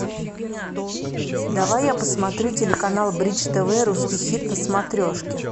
давай я посмотрю телеканал бридж тв русский хит на смотрешке